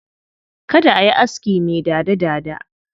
Kada a yi aski mai dada-dada.